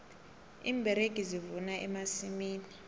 iimberegi zivuna emasimini